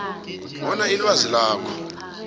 bona ilwazi lakho